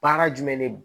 Baara jumɛn de don